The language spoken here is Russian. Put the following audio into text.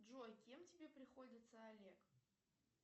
джой кем тебе приходится олег